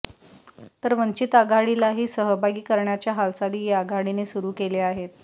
तर वंचित आघाडीलाही सहभागी करण्याच्या हालचाली या आघाडीने सुरू केल्या आहेत